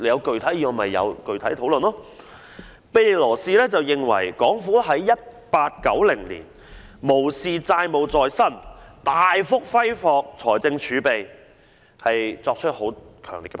在1890年，庇理羅士對港府無視債務纏身、大幅揮霍財政儲備，作出強烈批評。